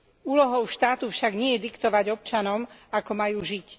Úlohou štátu však nie je diktovať občanom, ako majú žiť.